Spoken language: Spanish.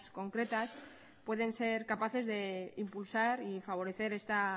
concretas pueden ser capaces de impulsar y favorecer esta